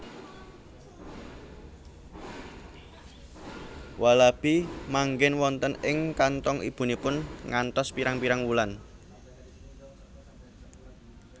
Walabi manggen wonten ing kanthong ibunipun ngantos pirang pirang wulan